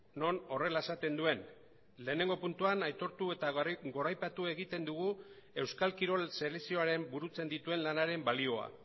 non horrela esaten duen lehenengo puntuan aitortu eta goraipatu egiten dugu euskal kirol selekzioaren burutzen dituen lanaren balioa